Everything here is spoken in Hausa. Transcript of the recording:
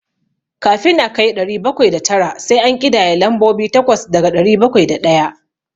Kafin a kai ɗari bakwai da tara, sai an ƙidaya lambobi takwas daga ɗari bakwai da ɗaya.